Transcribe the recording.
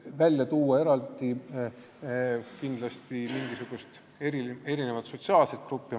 Väga raske on välja tuua mingisugust eraldi sotsiaalset gruppi.